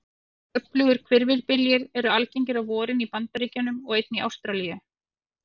Öflugir hvirfilbyljir eru algengir á vorin í Bandaríkjunum og einnig í Ástralíu.